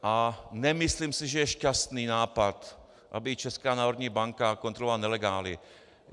A nemyslím si, že je šťastný nápad, aby Česká národní banka kontrolovala nelegály.